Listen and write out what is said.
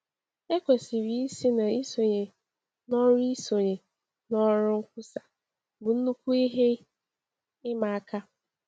Ekwesịrị ịsị na isonye n’ọrụ isonye n’ọrụ nkwusa bụ nnukwu ihe ịma aka.